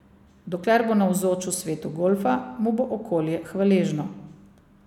Dokler bo navzoč v svetu golfa, mu bo okolje hvaležno.